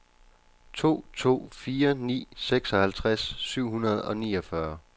to to fire ni seksoghalvtreds syv hundrede og niogfyrre